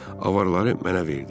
Avarları mənə verdi.